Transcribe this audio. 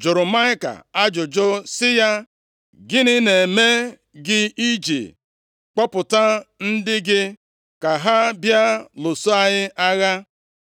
jụrụ Maịka ajụjụ sị ya, “Gịnị na-eme gị iji kpọpụta ndị gị ka ha bịa lụso anyị agha?”